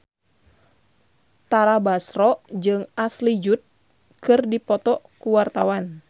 Tara Basro jeung Ashley Judd keur dipoto ku wartawan